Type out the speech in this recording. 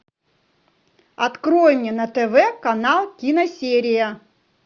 открой мне на тв канал киносерия